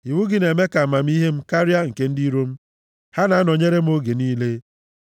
Iwu gị na-eme ka amamihe m karịa nke ndị iro m, ha na-anọnyere m oge niile.